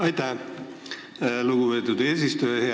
Aitäh, lugupeetud eesistuja!